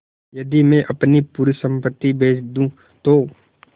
यदि मैं अपनी पूरी सम्पति बेच दूँ तो